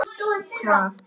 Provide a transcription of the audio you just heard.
Hvað var að?